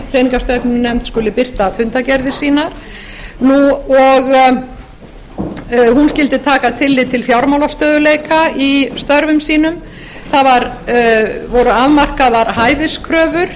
peningastefnunefnd skuli birta fundargerðir sínar og hún skyldi taka tillit til fjármálastöðugleika í störfum sínum það voru afmarkaðar hæfiskröfur